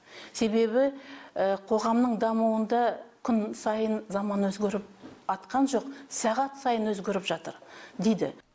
себебі қоғамның дамуында күн сайын заман өзгеріп атқан жоқ сағат сайын өзгеріп жатыр дейді